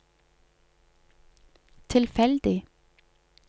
tilfeldig